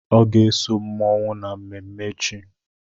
Ọ ga-eso mmụọnwụ na mmemme echi.